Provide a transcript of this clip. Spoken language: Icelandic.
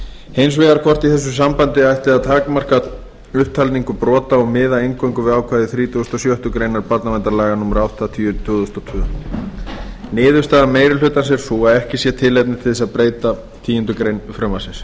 hins vegar hvort í þessu sambandi ætti að takmarka upptalningu brota og miða eingöngu við ákvæði þrítugustu og sjöttu grein barnaverndarlaga númer áttatíu tvö þúsund og tvö niðurstaða meiri hlutans er sú að ekki sé tilefni til að breyta tíundu greinar frumvarpsins